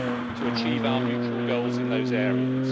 to achieve our mutual goals in those areas.